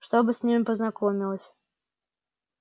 чтобы с ними познакомилась